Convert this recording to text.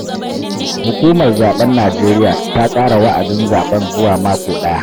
Hukumar zaben Nijeriya ta ƙara wa'adin zaɓen zuwa mako ɗaya.